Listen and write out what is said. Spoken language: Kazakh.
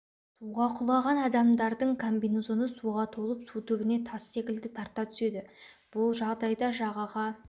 суға құлаған адамданың комбинезоны суға толып су түбіне тас секілді тарта түседі бұл жағдайда жағаға